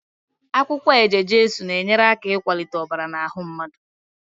Akwukwo eje-jesu na-enyeaka ikwalite obara n'ahu mmadu